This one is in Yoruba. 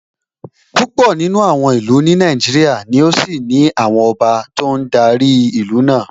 Púpọ̀ nínú àwọn ìlú ní Nàìjíríà ni ó ṣì ní àwọn ọba tó ń darí ìlú náà